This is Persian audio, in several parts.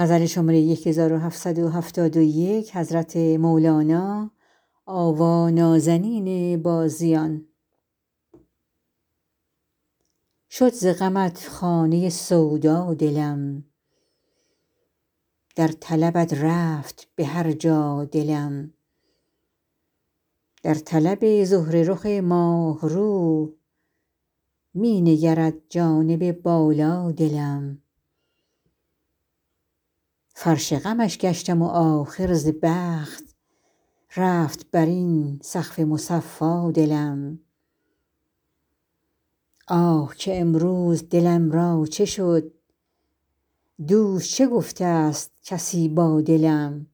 شد ز غمت خانه سودا دلم در طلبت رفت به هر جا دلم در طلب زهره رخ ماه رو می نگرد جانب بالا دلم فرش غمش گشتم و آخر ز بخت رفت بر این سقف مصفا دلم آه که امروز دلم را چه شد دوش چه گفته است کسی با دلم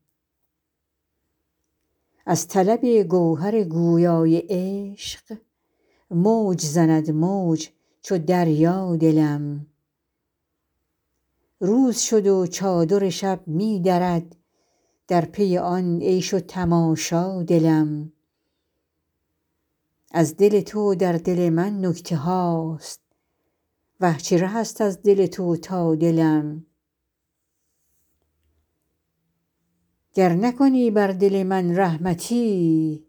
از طلب گوهر گویای عشق موج زند موج چو دریا دلم روز شد و چادر شب می درد در پی آن عیش و تماشا دلم از دل تو در دل من نکته هاست اه چه ره است از دل تو تا دلم گر نکنی بر دل من رحمتی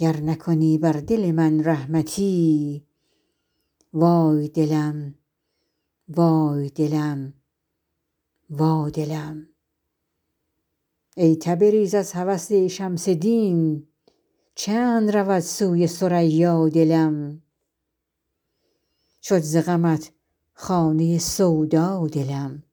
وای دلم وای دلم وا دلم ای تبریز از هوس شمس دین چند رود سوی ثریا دلم